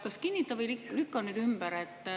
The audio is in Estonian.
Kinnita või lükka see nüüd ümber.